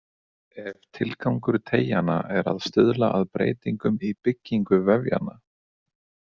Ef tilgangur teygjanna er að stuðla að breytingum í byggingu vefjanna.